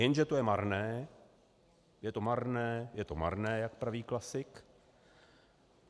Jenže to je marné, je to marné, je to marné, jak praví klasik.